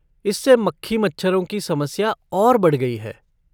इससे मक्खी मच्छरों की समस्या और बढ़ गई है।